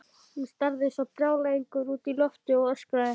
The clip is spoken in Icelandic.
Hún starði eins og brjálæðingur út í loftið og öskraði.